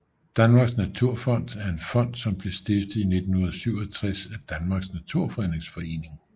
Danmarks Naturfond er en fond som blev stiftet i 1967 af Danmarks Naturfredningsforening